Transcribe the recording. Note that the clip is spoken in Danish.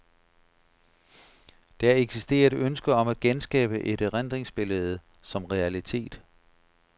Der eksisterer et ønske om at genskabe et erindringsbillede som realitet.